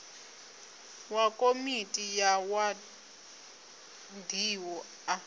wa komiti ya wadi a